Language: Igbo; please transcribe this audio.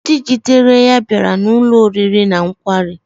Ndị jidere ya bịara n'ụlọ oriri na nkwari